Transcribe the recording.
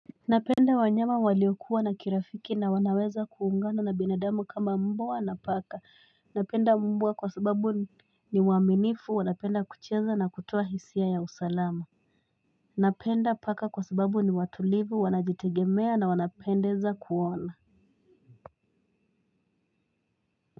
Napenda wanyama waliokuwa na kirafiki na wanaweza kuungana na binadamu kama mbwa na paka. Napenda mbwa kwa sababu ni waaminifu wanapenda kucheza na kutoa hisia ya usalama. Napenda paka kwa sababu ni watulivu wanajitegemea na wanapendeza kuona.